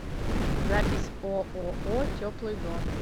запись ооо теплый дом